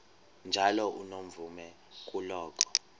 njalo unomvume kuloko